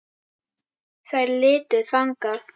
Þær litu þangað.